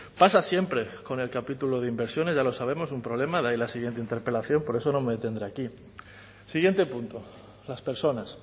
pasa siempre con el capítulo de inversiones ya lo sabemos un problema de ahí la siguiente interpelación por eso no me detendré aquí siguiente punto las personas